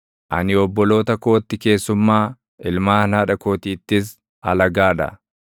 Ani obboloota kootti keessummaa, ilmaan haadha kootiittis alagaa dha;